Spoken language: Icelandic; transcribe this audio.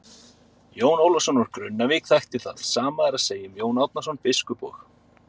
Jón Ólafsson úr Grunnavík þekkti það, sama er að segja um Jón Árnason biskup og.